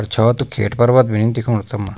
अर छो त खैट पर्वत भी नि दिखेणु तमा।